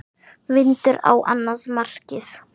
Vindur á annað markið.